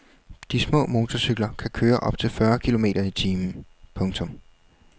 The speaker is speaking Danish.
De små motorcykler kan køre op til fyrre kilometer i timen. punktum